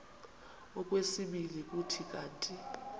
okwesibini kuthi kanti